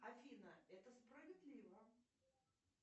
афина это справедливо